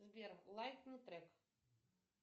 сбер лайкни трек